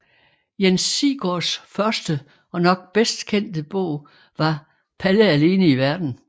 Jens Sigsgaards første og nok bedst kendte bog var Palle alene i Verden